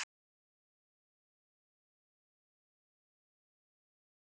Lillý: Aðeins að hugsa um peningana?